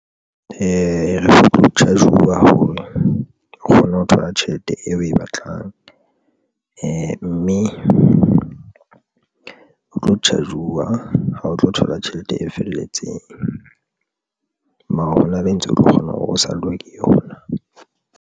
Ho tlo charge-uwa o kgona ho thola tjhelete eo o e batlang mme o tlo charge-uwa ha o tlo thola tjhelete e felletseng. Mara hona be ntse o tlo kgona hore o sallwe ke yona.